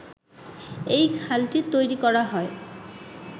এই খালটি তৈরি করা হয়